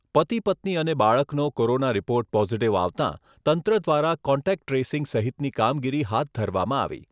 પતિપત્ની અને બાળકનો corona report positive આવતાં તંત્ર દ્વારા કોન્ટેક્ટ ટ્રેસીંગ સહિતની કામગીરી હાથ ધરવામાં આવી.